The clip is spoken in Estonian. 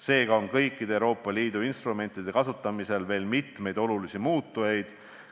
Seega on kõikide Euroopa Liidu instrumentide kasutamisega seotud veel mitmeid olulisi muutujaid.